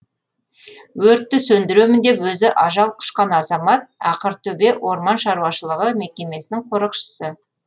өртті сөндіремін деп өзі ажал құшқан азамат ақыртөбе орман шаруашылығы мекемесінің қорықшысы